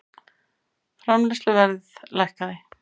Framleiðsluverð lækkaði